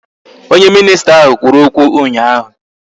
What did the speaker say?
Onye minisita ahụ kwuru okwu ụnyaahụ